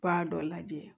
B'a dɔ lajɛ